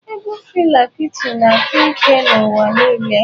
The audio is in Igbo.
Egwu Fela Kuti na-akpa ike n'ụwa niile.